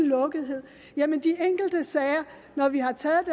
lukkethed at når vi har taget